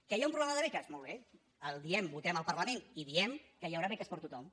que hi ha un problema de beques molt bé el diem votem al parlament i diem que hi haurà beques per a tothom